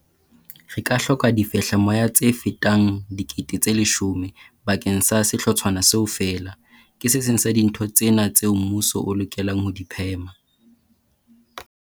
Re ka hloka difehlamoya tse fetang dikete tse leshome bakeng sa sehlotshwana seo feela. Ke se seng sa dintho tsena tseo mmuso o lekang ho di phema.